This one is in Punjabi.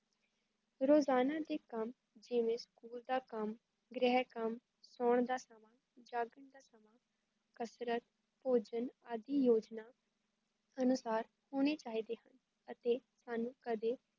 ਰੋਜ਼ਾਨਾ ਦਾ ਕੱਮ ਜਿਵੇਂ ਸਕੂਲ ਦਾ ਕੱਮ, ਗ੍ਰਹ ਕੱਮ, ਸੋਣ ਦਾ ਜਾਗਣ ਦਾ ਕਸਰਤ ਭੋਜਨ ਆਂਦੀ ਯੋਜਨਾ ਅਨੁਸਾਰ ਹੋਣੇ ਚਾਹੀਦੇ ਅਤੇ ਸਾਨੂੰ ਕਦੇ